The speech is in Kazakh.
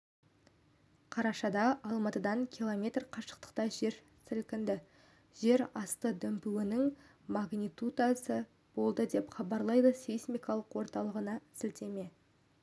қарашада алматыдан километр қашықтықта жер сілкінді жер асты дүмпуінің магнитудасы болды деп хабарлайды сейсмикалық орталығына сілтеме